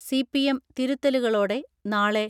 CPM തിരുത്തലുകളോടെ നാളെ